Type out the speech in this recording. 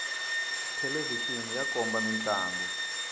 thelevixini ya komba mintlangu